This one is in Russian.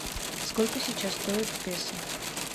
сколько сейчас стоит песо